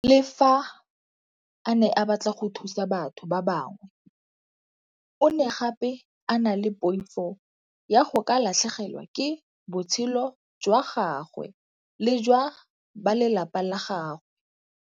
Le fa a ne a batla go thusa batho ba bangwe, o ne gape a na le poifo ya go ka latlhegelwa ke botshelo jwa gagwe le jwa ba lelapa la gagwe.